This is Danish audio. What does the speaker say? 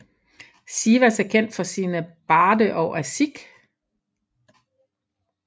Sivas er kendt for sine barde og aşık